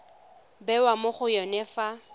bewa mo go yone fa